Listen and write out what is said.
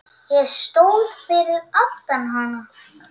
Ég stóð fyrir aftan hana.